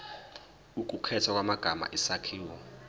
ukukhethwa kwamagama isakhiwo